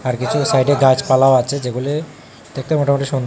আর কিছু সাইডে গাছপালাও আছে যেগুলি দেখতে মোটামুটি সুন্দ--